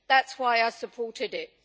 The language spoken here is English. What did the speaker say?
That is why I supported it.